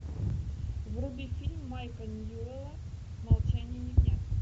вруби фильм майка ньюэлла молчание ягнят